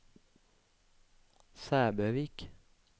Sæbøvik